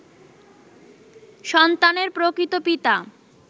সন্তানের প্রকৃত পিতা